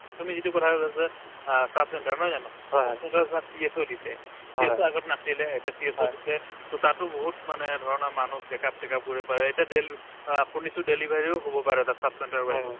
তুমি যিটো কথা কলা যে অ sub center নহয় জানো sub center ত first PSO দিছে সেইটো আগত নাছিলে এতিয়া CSO দিছে to তাতো বহুত মানে ধৰণৰ মানুহ check up টেক up কৰিব পাৰে এতিয়া দেলি অ শুনিছো delivery ও হব পাৰে তাত sub center ৰৰ বাহিৰে